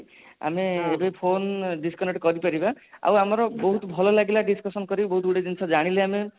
ଆମେ ଯୋଉ phone disconnect କରିପାରିବା ତ ଆମର ବହୁତ ଭଲ ଲାଗିଲା discussion କରି ବହୁତ ଗୁଡେ ଜିନିଷ ଜାଣିଲେ ଆମେ